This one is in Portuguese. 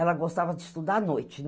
Ela gostava de estudar à noite.